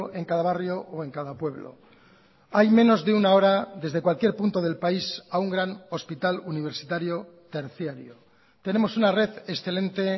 en cada barrio o en cada pueblo hay menos de una hora desde cualquier punto del país a un gran hospital universitario terciario tenemos una red excelente